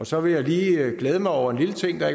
så vil jeg lige glæde mig over en lille ting der